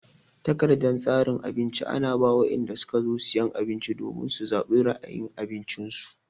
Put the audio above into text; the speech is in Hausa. Takardan tsarin abinci ana ba wadanda suka zo cin abinci domin su zabi ra'ayin abincin su.